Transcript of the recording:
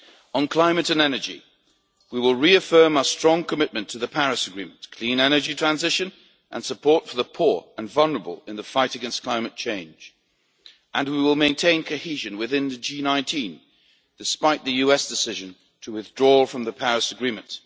On climate and energy, we will reaffirm our strong commitment to the Paris Agreement, clean energy transition and support for the poor and vulnerable in the fight against climate change, and we will maintain cohesion within the G19 despite the US decision to withdraw from the Paris Agreement.